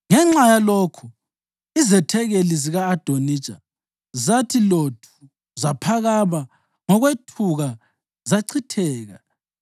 Ngenxa yalokhu, izethekeli zika-Adonija zathi lothu zaphakama ngokwethuka zachitheka.